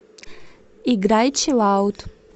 играй чилаут